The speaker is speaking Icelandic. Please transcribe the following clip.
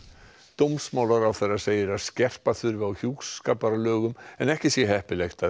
dómsmálaráðherra segir að skerpa þurfi á hjúskaparlögum en ekki sé heppilegt að